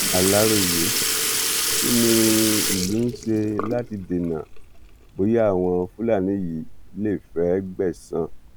aláròyé kí ni ìlú ń ṣe láti dènà bóyá àwọn fúlàní yìí lè fẹẹ gbẹsan